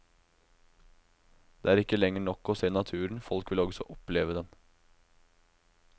Det er ikke lenger nok å se naturen, folk vil også oppleve den.